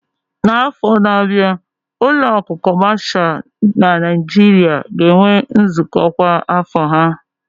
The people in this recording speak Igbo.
N'afọ na-abịa, ụlọ akụ kọmashal na Nigeria ga-enwe nzukọ kwa afọ ha